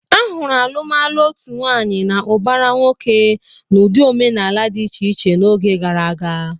A hụrụ alụmalụ otu nwaanyị na ụbara nwoke n'ụdị omenala dị iche iche n'oge gara aga.